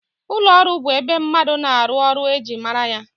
Ụlọọrụ bụ ebe mmadụ na-arụ ọrụ e ji mara ya